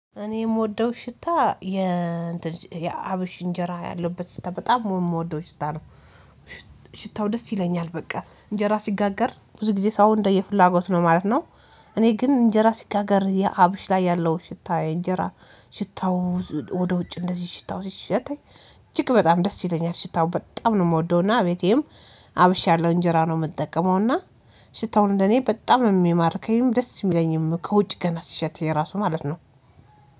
እኔ የምወደው ሽታ የ እንደዝህ የአብሽ እንጀራ ያለበት ሽታ በጣም የምወደው ሽታ ነው። ሽታው ደስ ይለኛል በቃ እንጀራ ሲጋገር ብዙ ጊዜ ሰው እንደየፍላጎት ነው ማለት ነው። እኔ ግን እንጀራ ሲጋገር የአብሽ ላይ ያለው ሽታ እንጀራ ሽታው ወደ ውጭ እንደዚህ ሽታው ሲሸተኝ እጅግ በጣም ደስ ይለኛል ሽታው በጣም ነው እምወደው እና እቤቴም አብሽ ያለው እንጀራ ነው። እምጠቀመውና ሽታውን እንደ እኔ በጣም እሚማርከይም ደስ እሚለኝም ከውጭ ገና ሲሸተኝ ራሱ ማለት ነው።